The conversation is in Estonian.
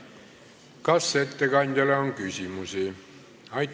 Kas ettekandjale on küsimusi?